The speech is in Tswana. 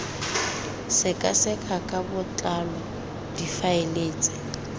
sekaseka ka botlalo difaele tsa